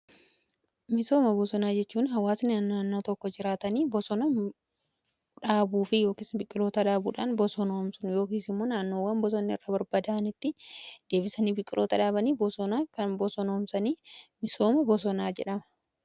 Misooma bosonaa jechuun hawaasni naannoo tokko jiraatanii bosona dhaabuu fi ykn biqiloota dhaabuudhaan bosoonoomsun yookiin immoo naannowwan bosonni irra barbaada'anitti deebisanii biqiloota dhaabanii bosonaa kan bosonoomsanii misooma bosonaa jedhama.